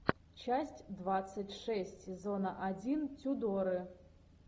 часть двадцать шесть сезона один тюдоры